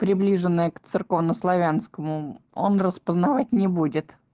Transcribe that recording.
приближенное к церковнославянскому он распознавать не будет